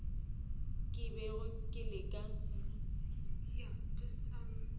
ke bego ke leka go